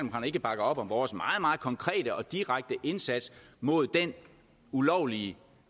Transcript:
ikke bakker op om vores meget meget konkrete og direkte indsats mod den ulovlige